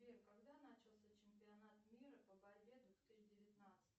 сбер когда начался чемпионат мира по борьбе две тысячи девятнадцать